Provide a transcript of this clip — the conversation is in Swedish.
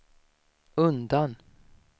undan